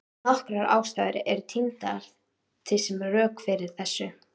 Nokkrar ástæður eru tíndar til sem rök fyrir þessu.